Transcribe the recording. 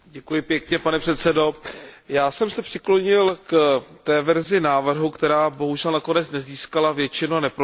Pane předsedající, já jsem se přiklonil k té verzi návrhu, která bohužel nakonec nezískala většinu a neprošla.